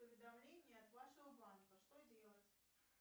уведомления от вашего банка что делать